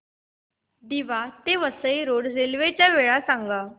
दिवा ते Vasai road railway च्या वेळा सांगा